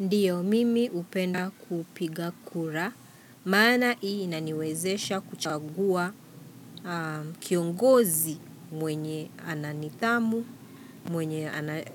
Ndiyo mimi upenda kupiga kura, maana ii inaniwezesha kuchagua kiongozi mwenye ana nithamu, mwenye anatu